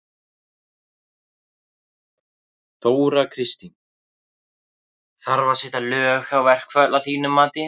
Þóra Kristín: Þarf að setja lög á verkföll að þínu mati?